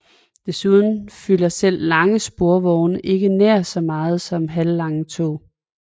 Desuden fylder selv lange sporvogne ikke nær så meget som lange tog